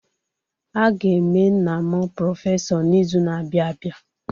A ga-eme nna m prọfesọ n'izu na-abịa abịa.